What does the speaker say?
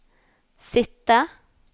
sitte